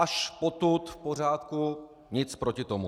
Až potud v pořádku, nic proti tomu.